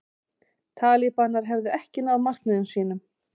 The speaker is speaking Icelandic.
Talibanar hefðu ekki náð markmiðum sínum